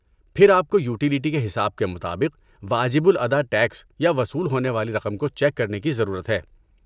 پھر آپ کو یوٹیلٹی کے حساب کے مطابق واجب الادا ٹیکس یا وصول ہونے والی رقم کو چیک کرنے کی ضرورت ہے۔